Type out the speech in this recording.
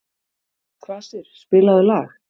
Kvasir, spilaðu lag.